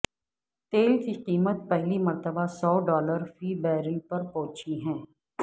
تیل کی قیمت پہلی مرتبہ سو ڈالر فی بیرل پر پہنچی ہے